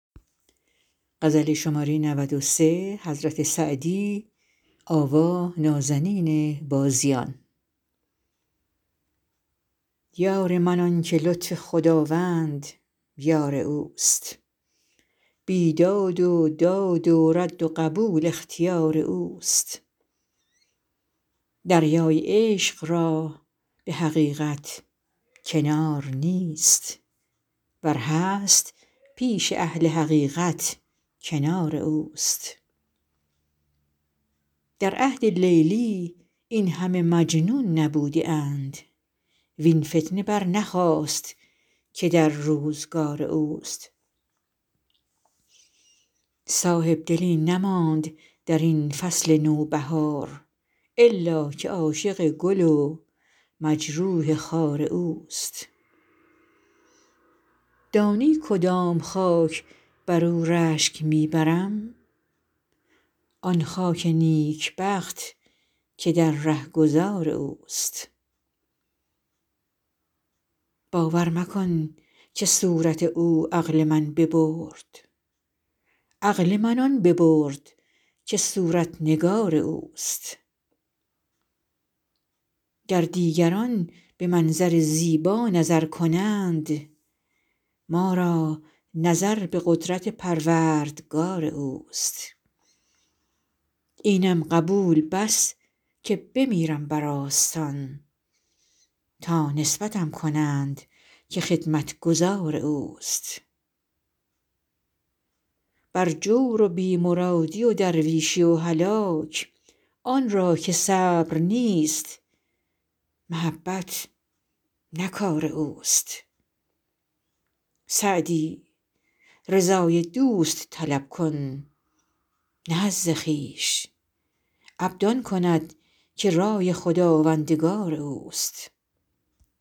یار من آن که لطف خداوند یار اوست بیداد و داد و رد و قبول اختیار اوست دریای عشق را به حقیقت کنار نیست ور هست پیش اهل حقیقت کنار اوست در عهد لیلی این همه مجنون نبوده اند وین فتنه برنخاست که در روزگار اوست صاحبدلی نماند در این فصل نوبهار الا که عاشق گل و مجروح خار اوست دانی کدام خاک بر او رشک می برم آن خاک نیکبخت که در رهگذار اوست باور مکن که صورت او عقل من ببرد عقل من آن ببرد که صورت نگار اوست گر دیگران به منظر زیبا نظر کنند ما را نظر به قدرت پروردگار اوست اینم قبول بس که بمیرم بر آستان تا نسبتم کنند که خدمتگزار اوست بر جور و بی مرادی و درویشی و هلاک آن را که صبر نیست محبت نه کار اوست سعدی رضای دوست طلب کن نه حظ خویش عبد آن کند که رای خداوندگار اوست